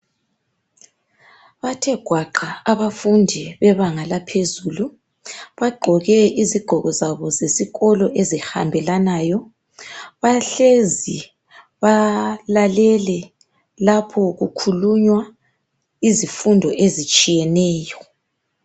Bathe gwaqa abafundi bebanga laphezulu bagqoke isigqoko zabo zesikolo ezihambelanayo balalele lapho kukhulunywa izifundo ezitshiyeneyo.